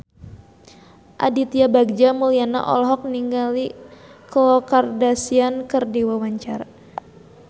Aditya Bagja Mulyana olohok ningali Khloe Kardashian keur diwawancara